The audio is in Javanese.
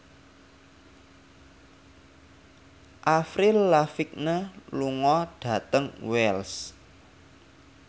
Avril Lavigne lunga dhateng Wells